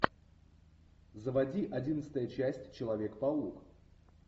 заводи одиннадцатая часть человек паук